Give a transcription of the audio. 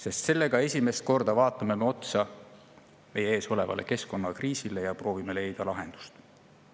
Sest sellega me esimest korda vaatame otsa meie ees olevale keskkonnakriisile ja proovime leida lahendust.